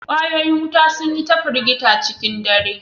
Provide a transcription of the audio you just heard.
Ƙwayoyin wuta sun yi ta firgita a cikin dare